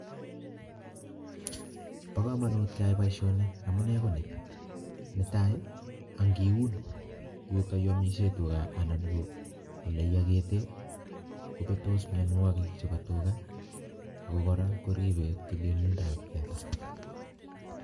Bo kamanut keai boisioni amune ko ni, netai ii, ang ngiun yutoyu amisie tuga anan ko oleiyokete kobetos mionwogik chebo tuga ako kora koribe tililindab teta.